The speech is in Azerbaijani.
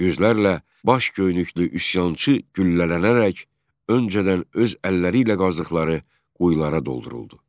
Yüzlərlə baş göynüklü üsyançı güllələnərək öncədən öz əlləriylə qazdıqları quyulara dolduruldu.